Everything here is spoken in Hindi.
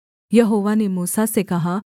यहोवा ने मूसा से कहा